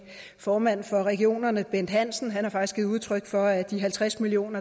formanden for regionerne bent hansen har faktisk givet udtryk for at de halvtreds million